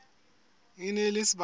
e ne e le sebaka